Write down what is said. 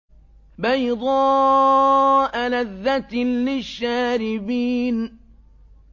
بَيْضَاءَ لَذَّةٍ لِّلشَّارِبِينَ